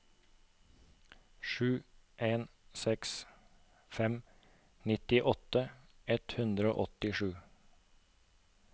sju en seks fem nittiåtte ett hundre og åttisju